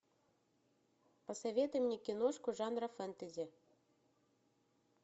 посоветуй мне киношку жанра фэнтези